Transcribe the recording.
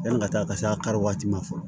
Yanni ka taa ka se a kari waati ma fɔlɔ